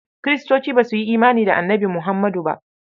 Kiristoci ba su yi imani da Annabi Muhammadu ba.